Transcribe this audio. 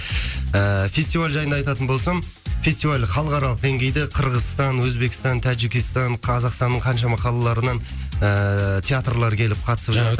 ыыы фестиваль жайында айтатын болсам фестиваль халықаралық деңгейде қырғызстан өзбекстан таджикистан қазақстанның қаншама қалаларынан ііі театрлар келіп қатысып жатыр